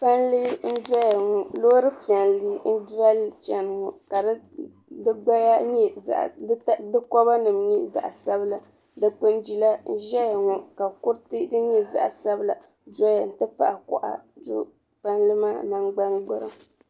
Palli n-doya ŋɔ loori piɛlli n-doli li chani ŋɔ ka di kɔbanima nyɛ zaɣ'sabila dukpuni jila n-ʒeya ŋɔ ka kuriti din nyɛ zaɣ'sabila doya nti pahi kɔɣa do palli maa nangban'gburiŋ.